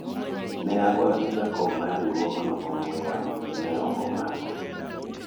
ne agoyo ne jakom mar riwuogno ong'wen yamo to ne ok omako